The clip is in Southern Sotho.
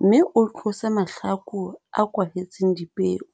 mme o tlose mahlaku a kwahetseng dipeo.